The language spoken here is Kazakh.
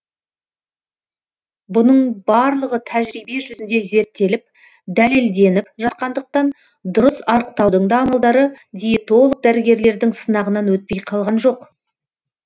бұның барлығы тәжірибе жүзінде зерттеліп дәлелденіп жатқандықтан дұрыс арықтаудың да амалдары диетолог дәрігерлердің сынағынан өтпей қалған жоқ